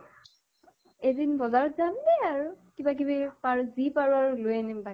এদিন বজাৰত জাম দে আৰু। কিবা কিবি পাৰো যি পাৰো আৰু লৈ আহিম বাকী